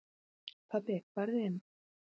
Pabbi farðu inn!